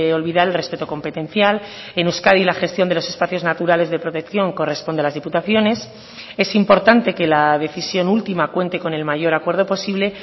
olvidar el respeto competencial en euskadi la gestión de los espacios naturales de protección corresponde a las diputaciones es importante que la decisión última cuente con el mayor acuerdo posible